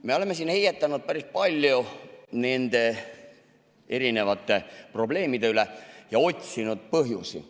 Me oleme siin heietanud päris palju erinevate probleemide üle ja otsinud põhjusi.